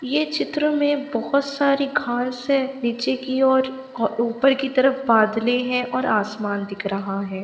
यह चित्र में बहुत सारी घास हैं नीचे की ओर ऊपर की तरफ बादले हैं और आसमान दिख रहा है।